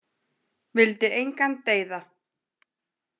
Vildi engan deyða.